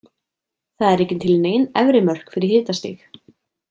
Það eru ekki til nein efri mörk fyrir hitastig.